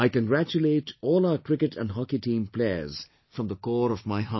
I congratulate all our Cricket and Hockey team players from the core of my heart